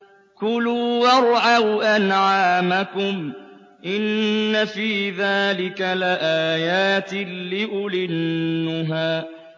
كُلُوا وَارْعَوْا أَنْعَامَكُمْ ۗ إِنَّ فِي ذَٰلِكَ لَآيَاتٍ لِّأُولِي النُّهَىٰ